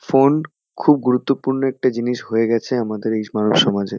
Phone খুব গুরুত্বপূর্ণ একটা জিনিস হয়ে গেছে আমাদের এই মানব সমাজে।